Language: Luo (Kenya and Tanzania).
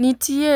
Nitiye